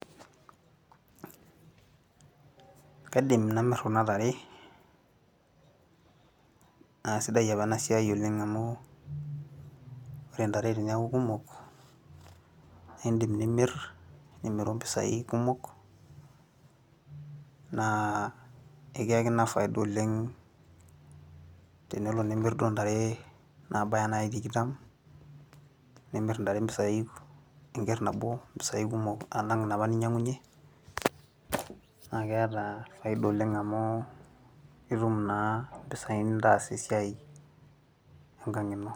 kaiidm namir kunatare, naa sidai apa ena siai oleng amu ore ntare teneku kumok naa idim nimir ,nimiru impisai, kumok, naa ekiayaki ina faida oleng, tenelo nimir duoo ntare naabaya duo naaji tikitam. nimir intare impisai, enker nabo, imoisai kumokalang inapa ninyiang'unye, naa keeta faida oleng amu itum naa imoisai nintaas esiai enkang' ino.